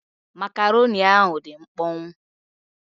Makaroni ahụ dị mkpọnwụ.